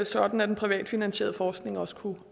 sådan at den privatfinansierede forskning også kunne